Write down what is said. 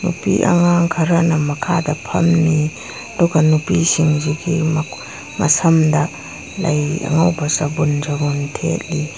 ꯅꯨꯄꯤ ꯑꯉꯥꯡ ꯈꯔꯅ ꯃꯈꯥꯗ ꯐꯝꯂꯤ ꯑꯗꯨꯒ ꯅꯨꯄꯤ ꯁꯤꯡꯁꯤꯒꯤ ꯃꯈꯣ ꯃꯁꯝꯗ ꯂꯩ ꯑꯉꯧꯕ ꯆꯕꯨꯟ ꯆꯕꯨꯟ ꯊꯦꯠꯂꯤ꯫